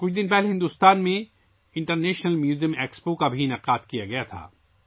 چند روز قبل بھارت میں انٹرنیشنل میوزیم ایکسپو کا بھی اہتمام کیا گیا تھا